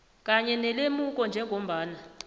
kanye nelemuko njengombana